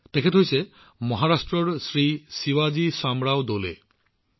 তেওঁ হল এনে এজন ভদ্ৰলোক মহাৰাষ্ট্ৰৰ শ্ৰীমান শিৱাজী শ্বামৰাও ডোলে